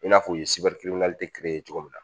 I n'a fɔ u ye ye cogo min na